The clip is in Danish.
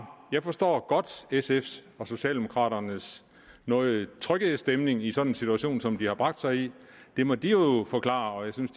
jeg forstår godt sfs og socialdemokraternes noget trykkede stemning i sådan en situation som de har bragt sig i det må de jo forklare og jeg synes